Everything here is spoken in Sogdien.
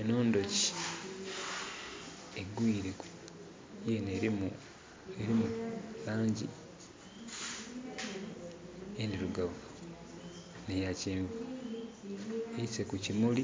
Enho ndhuki yinho erimu langi endirugavu nhe ya kyenvu. Eise ku kimuli